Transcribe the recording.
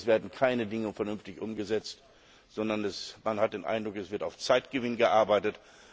es werden keine Dinge vernünftig umgesetzt, sondern man hat den Eindruck, es wird auf Zeitgewinn gearbeitet.